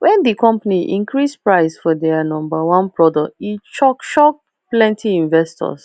when the company increase price for their number one product e shock shock plenty investors